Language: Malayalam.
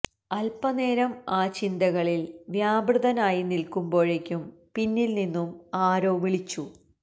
അൽപനേരം ആ ചിന്തകളിൽ വ്യാപൃതനായി നിൽക്കുമ്പോഴേക്കും പിന്നിൽ നിന്നും ആരോ വിളിച്ചു